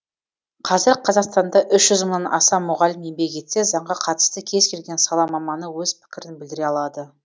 қазір қазақстанда үш жүз мыңнан аса мұғалім еңбек етсе заңға қатысты кез келген сала маманы өз пікірін білдіре алады